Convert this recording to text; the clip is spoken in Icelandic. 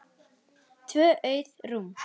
Tvö auð rúm.